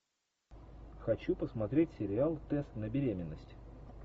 хочу посмотреть сериал тест на беременность